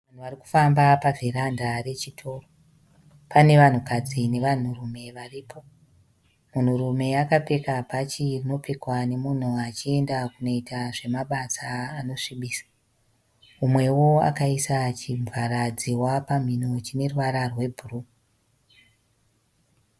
Vanhu varikufamba pa vheranda rechitoro. Pane vanhukadzi nevanhu rume varipo. Munhurume akapfeka bhachi rinopfekwa nemunhu achienda kunoita zvema basa anosvibisa. Mumwewo akaisa chivhara dzihwa pamhimo chineruvara rwe bhuruu.